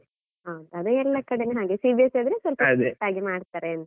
ಹ, ಅದೆ ಎಲ್ಲ ಕಡೆ ಹಾಗೆ CBSE ಸ್ವಲ್ಪ ಆಗಿ ಮಾಡ್ತಾರೆ ಅಂತ.